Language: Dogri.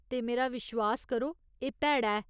ते मेरा विश्वास करो, एह् भैड़ा ऐ।